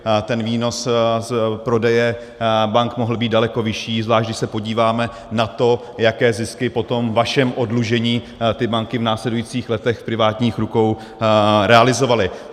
Ten výnos z prodeje bank mohl být daleko vyšší, zvlášť když se podíváme na to, jaké zisky po tom vašem oddlužení ty banky v následujících letech v privátních rukou realizovaly.